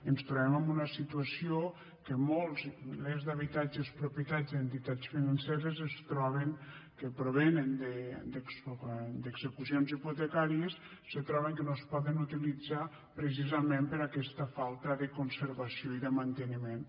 ens trobem en una situació en què molts milers d’habitatges propietat d’entitats financeres que provenen d’execucions hipotecàries se troben que no es poden utilitzar precisament per aquesta falta de conservació i de manteniment